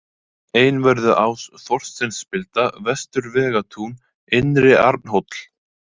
Einvörðuás, Þorsteinsspilda, Vestur-Vegatún, Innri-Arnhóll